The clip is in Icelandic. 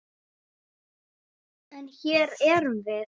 En. hér erum við.